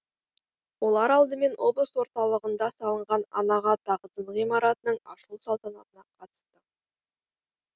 олар алдымен облыс орталығында салынған анаға тағзым ғимаратының ашылу салтанатына қатысты